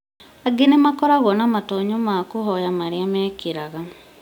Angĩ nĩmakoragwo na matonyo ma kũhoya marĩa mekĩraga